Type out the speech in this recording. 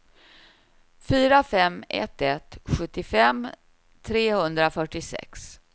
fyra fem ett ett sjuttiofem trehundrafyrtiosex